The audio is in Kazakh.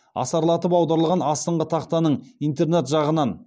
асарлатып аударылған астыңғы тақтаның интернат жағынан